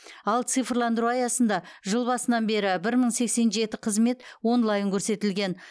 ал цифрландыру аясында жыл басынан бері бір мың сексен жеті қызмет онлайн көрсетілген